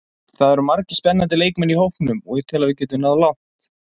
Það eru margir spennandi leikmenn í hópnum og ég tel að við getum náð langt.